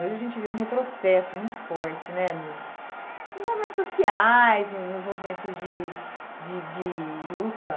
Hoje a gente vê um retrocesso muito forte né nos nos movimentos sociais, nos nos movimentos de de de luta.